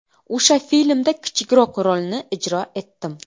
O‘sha filmda kichikroq rolni ijro etdim.